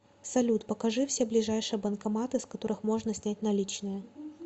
салют покажи все ближайшие банкоматы с которых можно снять наличные